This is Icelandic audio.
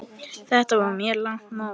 Þetta var mjög langt mót.